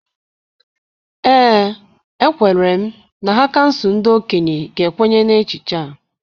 Ee, ekwere m na ha kansụl ndị okenye ga-ekwenye na echiche a.